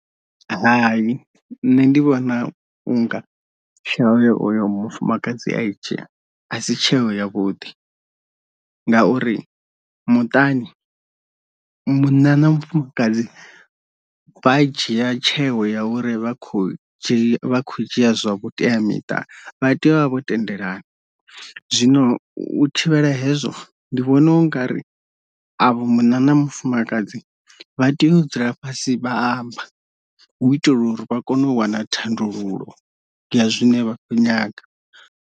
Hai nṋe ndi vhona unga tsheo ye oyo mufumakadzi a i dzhia asi tsheo ya vhuḓi, ngauri muṱani munna na mufumakadzi vha dzhia tsheo ya uri vha khou dzhia kho dzhia zwa vhuteamiṱa vha tea u vha vha vho tendelana, zwino u thivhela hezwo ndi vhona unga ri avho munna na mufumakadzi vha tea u dzula fhasi vha amba hu u itela uri vha kone u wana thandululo ya zwine vha kho nyaga.